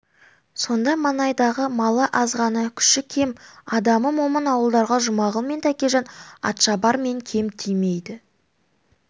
сонда маңайдағы малы азғана күші кем адамы момын ауылдарға жұмағұл мен тәкежан атшабар мен кем тимейді